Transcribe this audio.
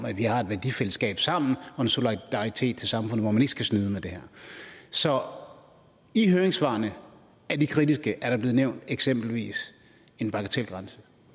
at vi har et værdifællesskab sammen og en solidaritet over for samfundet hvor man ikke skal snyde med det her så høringssvarene er de kritiske er der blevet nævnt eksempelvis en bagatelgrænse